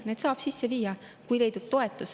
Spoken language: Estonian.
Need saab sisse viia, kui leidub toetus.